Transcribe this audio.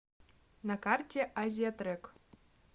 на карте азиятрек